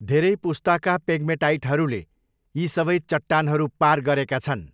धेरै पुस्ताका पेग्मेटाइटहरूले यी सबै चट्टानहरू पार गरेका छन्।